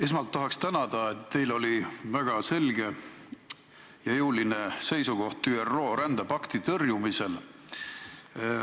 Esmalt tahaks tänada, et teil oli väga selge ja jõuline seisukoht ÜRO rändepakti tõrjumisel.